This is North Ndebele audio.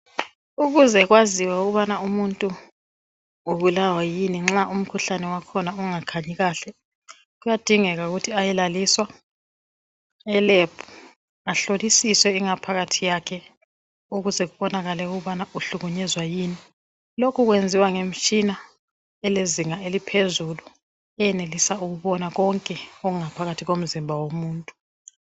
Ukuze kwaziwe ukuthi umuntu ubulawa yini nxa umkhuhlane wakhona ungakhanyi kahle kuyadingeka ukuthi umuntu ayelaliswa eLab ehloliswe ingaphakathi kwakhe ukuze ebone ukuthi ubulawa yini lokhu kwenziwa ngemitshina elezinga eliphezulu eyenelisa ukubona konke okungaphakathi komzimba womuntu